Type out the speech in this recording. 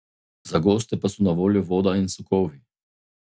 Za goste pa so na voljo voda in sokovi.